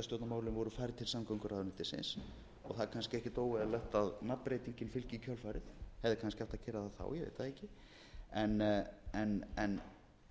og hálfu ári þegar sveitarstjórnarmálin voru færð til samgönguráðuneytisins og það er kannski ekkert óeðlilegt að nafnbreytingin fylgi í kjölfarið hefði kannski átt að gera það þá ég veit það